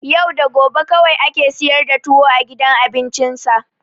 Yau da gobe kawai ake siyar da tuwo a gudan cin abincinsa.